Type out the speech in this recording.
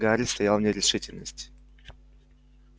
гарри стоял в нерешительности